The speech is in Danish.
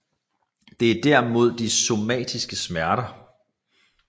Det er derimod de somatiske smerter